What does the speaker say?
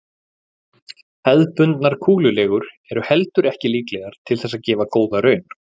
Hefðbundnar kúlulegur eru heldur ekki líklegar til þess að gefa góða raun.